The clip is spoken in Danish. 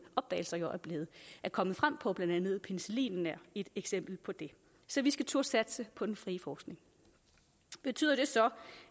opdagelser er kommet frem på blandt andet penicillinen er et eksempel på det så vi skal turde satse på den frie forskning betyder det så